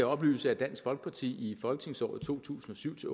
oplyse at dansk folkeparti i folketingsåret to tusind og syv til